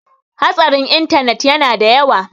hatsarin intanet yana da yawa